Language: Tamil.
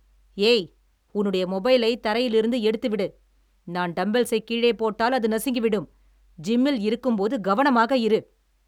ஏய், உன்னுடைய மொபைலை தரையிலிருந்து எடுத்துவிடு, நான் டம்பெல்ஸைக் கீழே போட்டால் அது நசுங்கி விடும், ஜிம்மில் இருக்கும்போது கவனமாக இரு.